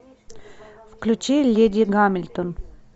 включи леди гамильтон